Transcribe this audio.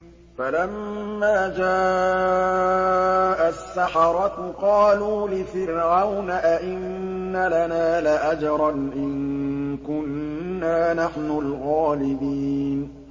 فَلَمَّا جَاءَ السَّحَرَةُ قَالُوا لِفِرْعَوْنَ أَئِنَّ لَنَا لَأَجْرًا إِن كُنَّا نَحْنُ الْغَالِبِينَ